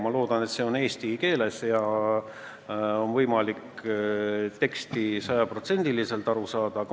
Ma loodan, et see on eesti keeles ja on võimalik tekstist sajaprotsendiliselt aru saada.